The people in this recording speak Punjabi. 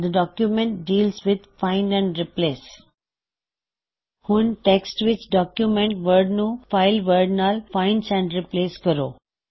the document deals with find and replace ਹੁਣ ਟੈਕ੍ਸਟ ਵਿੱਚ ਡੌਕਯੁਮੈੱਨਟ ਵਰਡ ਨੂਂ ਫਾਇਲ ਵਰਡ ਨਾਲ ਫਾਇਨ੍ਡ ਐਂਡ ਰਿਪ੍ਲੇਸ ਕਰੋ